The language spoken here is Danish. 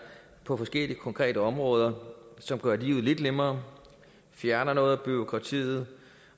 på forskellige konkrete områder som gør livet lidt nemmere fjerner noget af bureaukratiet